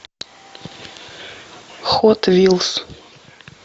хот вилс